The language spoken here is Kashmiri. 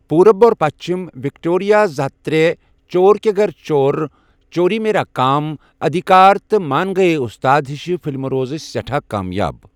پوُرب اور پَشچِم، وِکٹورِیا زٕ ہتھ ترے، چور کے گَر چور، چوری میرا کام، أدِھکار، تہٕ مان گٔیے اُستاد ہِشہٕ فِلمہٕ روزٕ سیٚٹھا کامیاب۔